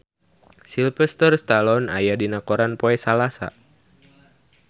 Sylvester Stallone aya dina koran poe Salasa